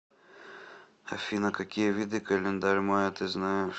афина какие виды календарь майя ты знаешь